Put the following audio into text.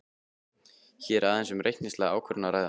Hér er aðeins um reikningslega ákvörðun að ræða.